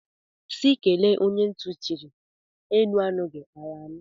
Sị kelee onye ntị chiri, enu anụghi, ala anụ.